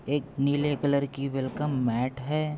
एक नीले कलर की वेल्कम मैट है।